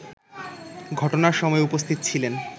ঘটনার সময় উপস্থিত ছিলেন